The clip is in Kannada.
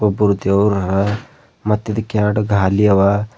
ಒಬ್ಬರು ದೇವ್ರಾರ ಮತ್ತು ಇದು ಎರಡು ಗಾಲಿ ಅವ.